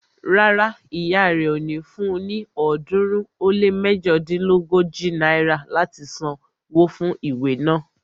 Rárá, ìyá rẹ ò ní fun ní ọ̀ọ́dúnrún ó lé méjodínlógójì náírà láti san wó fún ìwé naa